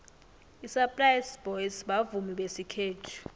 isaplasi boys bavumi besikhethu